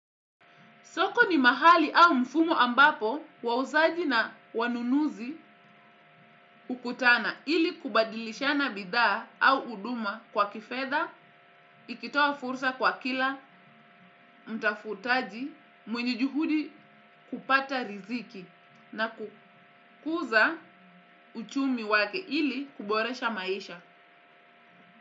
Soko ni mahali au mfumo ambapo wauzaji na wanunuzi hukutana ili kubadilishana bidhaa au huduma kwa kifedha, ikitoa fursa kwa kila, mtafutaji, mwenye juhudi kupata riziki na kukuza uchumi wake ili kuboresha maisha.